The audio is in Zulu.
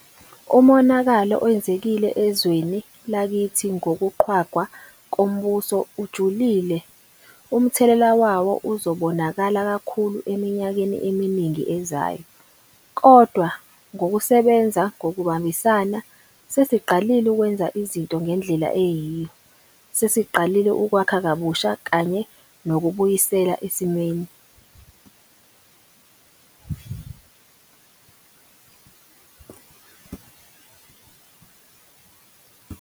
Umonakalo owenzekile ezweni lakithi ngokuqhwagwa kombuso ujulile. Umthelela wawo uzobonakala kakhulu eminyakeni eminingi ezayo. Kodwa, ngokusebenza ngokubambisana, sesiqalile ukwenza izinto ngendlela eyiyo. Sesiqalile ukwakha kabusha kanye nokubuyisela esimeni.